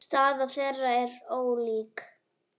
Staða þeirra er þó ólík.